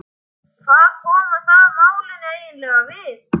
Hvað koma það málinu eiginlega við?